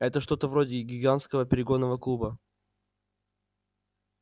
это что-то вроде гигантского перегонного клуба